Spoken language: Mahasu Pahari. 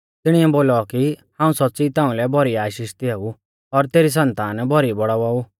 तिणिऐ बोलौ कि हाऊं सौच़्च़ी ताउंलै भौरी आशीष दियाऊ और तेरी सन्तान भौरी बौड़ाउवा ऊ